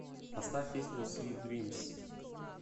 поставь песню свит дримс